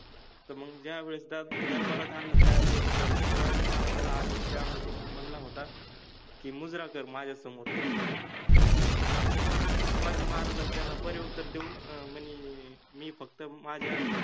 तर मंग ज्यावेळेस त्या दरबारात आणल त्यावेळेस अ शिवाजि महाराजाला आदिलशाहा मने मनला होता कि मुजरा कर माझ्यासमोर, हम्म शिवाजि महाराज त्याना पतिउत्तर देउन मने कि मि फक्त माझ्या